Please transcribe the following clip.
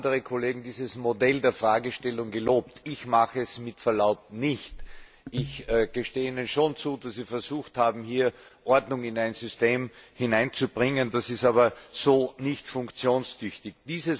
Andere Kollegen haben dieses Modell der Fragestellung gelobt, ich tue das mit Verlaub nicht! Ich gestehe Ihnen schon zu, dass Sie versucht haben, hier Ordnung in ein System zu bringen, das ist aber so nicht funktionstüchtig.